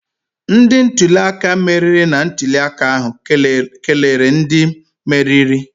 Ndị ntuli aka meriri na ntuli aka ahụ kelere ndị meriri